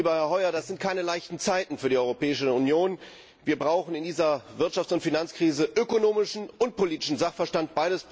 Lieber Herr Hoyer, das sind keine leichten Zeiten für die Europäische Union. Wir brauchen in dieser Wirtschafts und Finanzkrise ökonomischen und politischen Sachverstand.